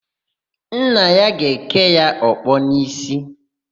Nna ya ga-èké ya ọkpọ n'ísí.